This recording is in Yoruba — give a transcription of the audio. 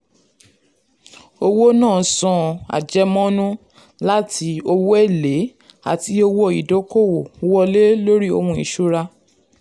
owó náà san àjẹmọ́nú láti owó èlé àti owó ìdókòwò wọlé lórí ohun ìṣúra.